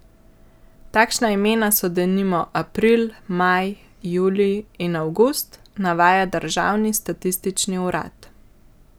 Takšna imena so denimo April, Maj, Julij in Avgust, navaja državni statistični urad.